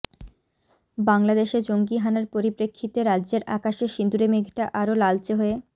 বাংলাদেশে জঙ্গি হানার পরিপ্রেক্ষিতে রাজ্যের আকাশে সিঁদুরে মেঘটা আরও লালচে হয়ে